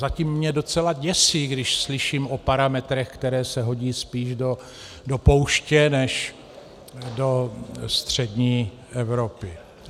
Zatím mě docela děsí, když slyším o parametrech, které se hodí spíš do pouště než do střední Evropy.